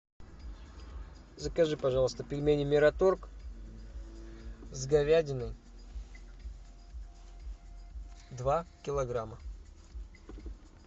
закажи пожалуйста пельмени мираторг с говядиной два килограмма